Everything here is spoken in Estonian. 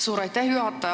Suur aitäh, juhataja!